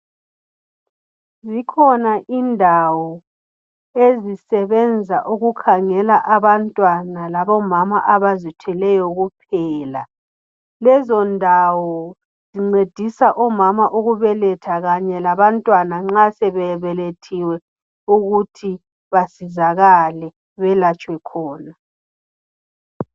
Zikhona indawo ezisebenza ukukhangela abantwana labomama abazithweleyo kuphela lezondawo zincedisa omama ukubeletha kanye labantwana nxa sebebelethiwe ukuthi basizakale belatshwe khona